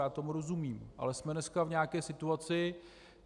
Já tomu rozumím, ale jsme dneska v nějaké situaci.